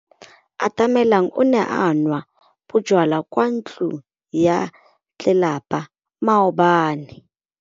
Atamelang o ne a nwa bojwala kwa ntlong ya tlelapa maobane.